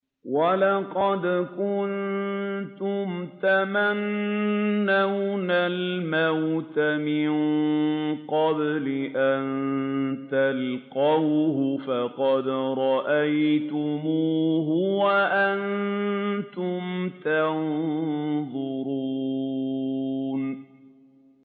وَلَقَدْ كُنتُمْ تَمَنَّوْنَ الْمَوْتَ مِن قَبْلِ أَن تَلْقَوْهُ فَقَدْ رَأَيْتُمُوهُ وَأَنتُمْ تَنظُرُونَ